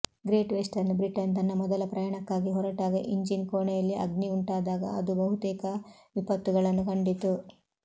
great Western Britain ತನ್ನ ಮೊದಲ ಪ್ರಯಾಣಕ್ಕಾಗಿ ಹೊರಟಾಗ ಇಂಜಿನ್ ಕೋಣೆಯಲ್ಲಿ ಅಗ್ನಿ ಉಂಟಾದಾಗ ಅದು ಬಹುತೇಕ ವಿಪತ್ತುಗಳನ್ನು ಕಂಡಿತು